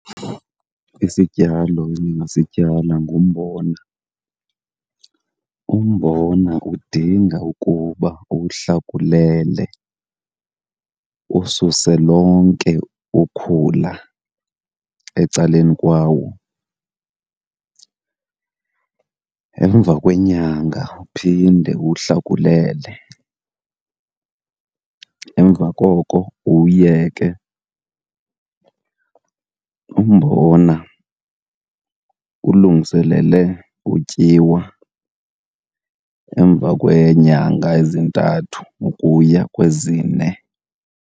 Isityalo endingasityala ngumbona. Umbona udinga ukuba uwuhlakulele ususe lonke ukhula ecaleni kwawo, emva kwenyanga uphinde uwuhlakulele, emva koko uwuyeke. Umbona ulungiselele utyiwa emva kweenyanga ezintathu ukuya kwezine.